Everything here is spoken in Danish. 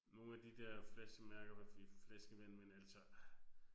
Nogle af de der flaskemærker med flaskevand men altså